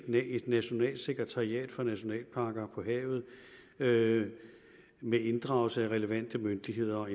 nationalt sekretariat for nationalparker på havet med med inddragelse af relevante myndigheder og